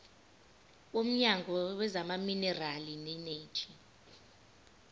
womnyango wezamaminerali neeneji